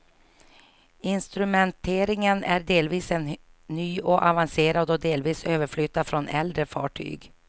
Instrumenteringen är delvis helt ny och avancerad och delvis överflyttad från äldre fartyg.